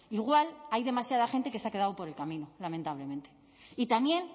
igual hay demasiada gente que se ha quedado por el camino lamentablemente y también